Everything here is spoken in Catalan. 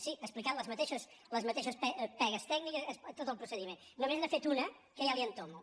sí he explicat les mateixes pegues tècniques tot el procediment només n’ha fet una que ja li entomo